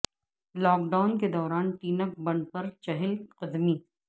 lock down کے دوران ٹینک بنڈ پر چہل قدمی